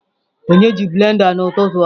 Onye ji blender a n'ụtụtụ a?